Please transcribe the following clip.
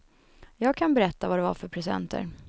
Jag kan berätta vad det var för presenter.